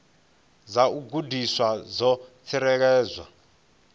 dza u gandiswa dzo tsireledzwa